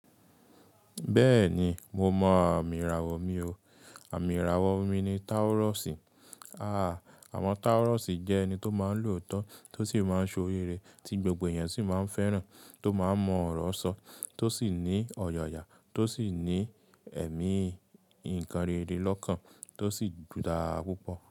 Bẹ́ẹ̀ni, mo mọ àmì ìràwọ̀ mi o. Àmì ìràwọ̀ mi ni Taurus. Àwọn Taurus jẹ́ ẹni tó máa ń lòótọ́, tó sì máa ń ṣe ori re, tí gbogbo èèyàn sì máa ń fẹ́ràn, tó máa ń mọ ọ̀rọ̀ sọ, tó sì ní ọ̀yàyà, tó sì ní ẹ̀mí ìkẹ́rẹ́rẹ́ lọ́kàn, tó sì dára púpọ̀